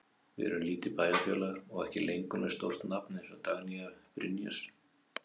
Við erum lítið bæjarfélag og ekki lengur með stórt nafn eins og Dagnýju Brynjars.